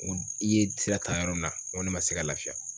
N ko i ye sira ta yɔrɔ min na, n ko ne ma se ka lafiya.